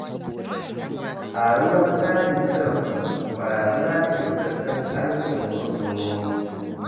Ƙaruwar kuɗin cajin cire kuɗi, barazana ce ga tattalin arziƙin kwastomomi.